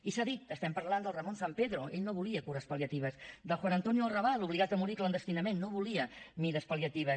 i s’ha dit estem parlant del ramón sampedro ell no volia cures pal·liatives del josé antonio arrabal obligat a morir clandestinament no volia mesures pal·liatives